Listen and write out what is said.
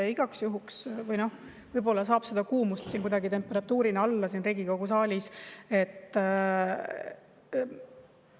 Ma igaks juhuks saada siin Riigikogu saalis kuidagi kuumust, temperatuuri alla.